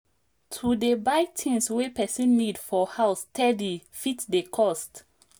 to dey buy things wey person need for house steady fit dey cost